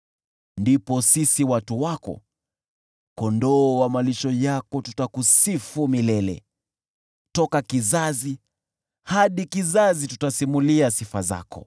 Ndipo sisi watu wako, kondoo wa malisho yako, tutakusifu milele; toka kizazi hadi kizazi tutasimulia sifa zako.